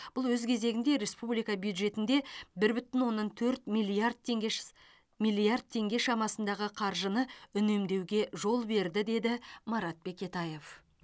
бұл өз кезегінде республика бюджетінде бір бүтін оннан төрт миллиард теңге шс миллиард теңге шамасындағы қаржыны үнемдеуге жол берді деді марат бекетаев